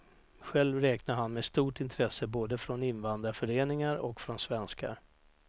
Själv räknar han med stort intresse både från invandrarföreningar och från svenskar.